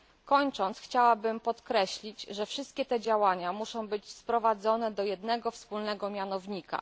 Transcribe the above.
Kończąc, chciałabym podkreślić, że wszystkie te działania muszą być sprowadzone do jednego, wspólnego mianownika.